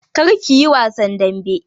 Kar ku yi wasan dambe!